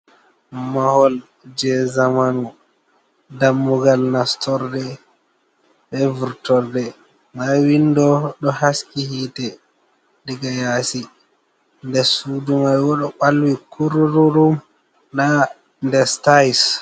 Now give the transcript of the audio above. Mahol je zamanu dammugal nastorde, be vurtorde, nda windo ɗo haski hitte, diga yasi nder sudu mai bo ɗo balwi kurururum nda nder stays.